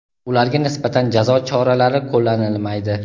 ularga nisbatan jazo choralari qo‘llanilmaydi.